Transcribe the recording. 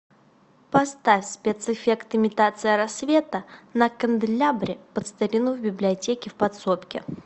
поставь спецэффект имитация рассвета на канделябре под старину в библиотеке в подсобке